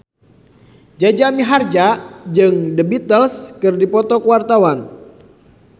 Jaja Mihardja jeung The Beatles keur dipoto ku wartawan